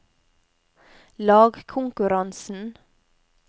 lagkonkurransen